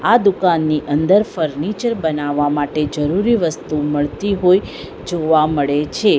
આ દુકાનની અંદર ફર્નિચર બનાવવા માટે જરૂરી વસ્તુ મળતી હોય જોવા મળે છે.